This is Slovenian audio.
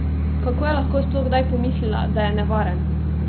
Kako je lahko sploh kdaj pomislila, da je nevaren?